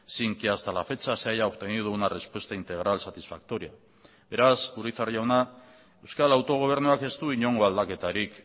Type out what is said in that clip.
sin que hasta la fecha se haya obtenido una respuesta integral satisfactoria beraz urizar jauna euskal autogobernuak ez du inongo aldaketarik